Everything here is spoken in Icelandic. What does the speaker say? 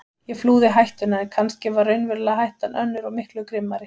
Ég flúði hættuna en kannski var raunverulega hættan önnur og miklu grimmari.